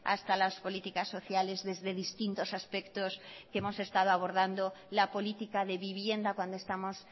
hasta las políticas sociales desde distintos aspectos que hemos estado abordando la política de vivienda cuando estamos